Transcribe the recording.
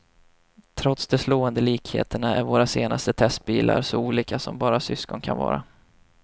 Trots de slående likheterna är våra senaste testbilar så olika som bara syskon kan vara.